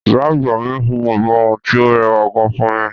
Ìyá àgbà mi hun ìborùn tí ó rẹwà gan fún mi.